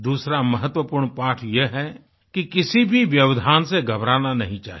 दूसरा महत्वपूर्ण पाठ यह है कि किसी भी व्यवधान से घबराना नहीं चाहिए